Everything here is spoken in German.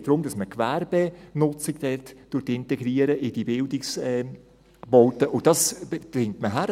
Es geht darum, dass man die Gewerbenutzung dort in die Bildungsbaute integriert, und das kriegt man hin.